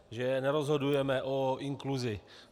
Že nerozhodujeme o inkluzi.